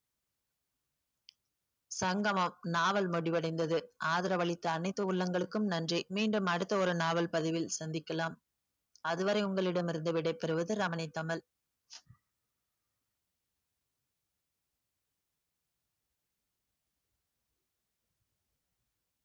சங்கமம் நாவல் முடிவடைந்தது ஆதரவளித்த அனைத்து உள்ளங்களுக்கும் நன்றி மீண்டும் அடுத்த ஒரு நாவல் பதிவில் சந்திக்கலாம் அதுவரை உங்களிடம் இருந்து விடைபெறுவது ரமணி தமிழ்.